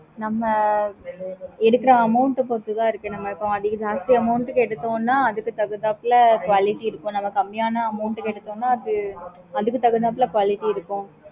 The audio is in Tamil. எடுக்குற amount ஆஹ் பொறுத்துதான் இருக்கு நம்ப அதிக ஜாஸ்தி amount க்கு எடுத்தோம்னா அதுக்கு தகுந்தாப்போல quality இருக்கும் நம்ப இப்போ கம்மியான amount எடுத்தோம்னா அதுக்கு தகுந்தாப்போல quality இருக்கும்